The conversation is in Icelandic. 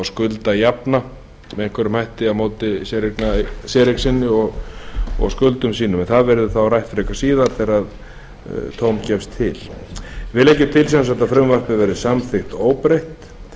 með einhverjum hætti á móti séreign sinni og skuldum sínum en það verður þá rætt löngu síðar þegar tóm gefst til meiri hlutinn leggur til að frumvarpið verði samþykkt óbreytt